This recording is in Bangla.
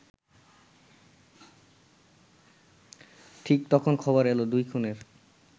ঠিক তখন খবর এলো দুই খুনের